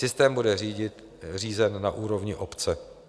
Systém bude řízen na úrovni obce.